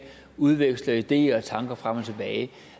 udveksler ideer og tanker frem og tilbage